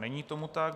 Není tomu tak.